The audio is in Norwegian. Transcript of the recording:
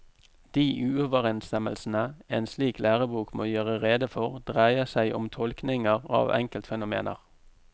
De uoverensstemmelsene en slik lærebok må gjøre rede for, dreier seg om tolkninger av enkeltfenomener.